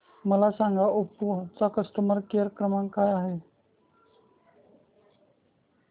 मला सांगा ओप्पो चा कस्टमर केअर क्रमांक काय आहे